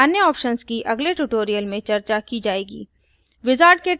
अन्य ऑप्शन्स की अगले ट्यूटोरियल्स में चर्चा की जाएगी